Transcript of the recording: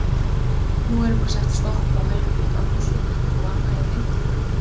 Nú verður bara sett stopp á Helguvík, á Húsavík og annað í þeim dúr?